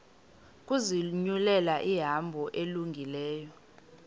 ukuzinyulela ihambo elungileyo